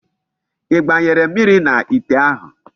I gbanyere mmiri n'ite ahu?